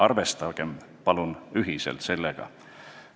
Arvestame palun ühiselt sellega!